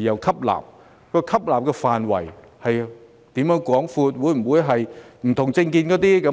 吸納對象的範圍是否廣闊，會否將不同政見的年青人拒